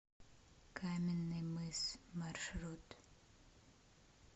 каменный мыс маршрут